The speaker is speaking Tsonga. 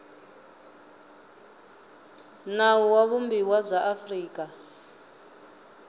nawu wa vumbiwa bya afrika